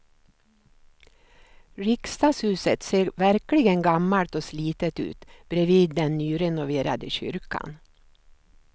Riksdagshuset ser verkligen gammalt och slitet ut bredvid den nyrenoverade kyrkan.